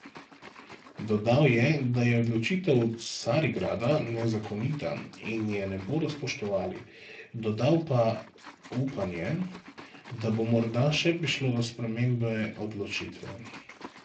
Dodal je, da je odločitev Carigrada nezakonita in je ne bodo spoštovali, dodal pa upanje, da bo morda še prišlo do spremembe odločitve.